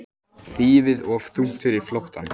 Þýfið of þungt fyrir flóttann